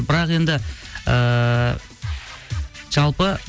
бірақ енді ыыы жалпы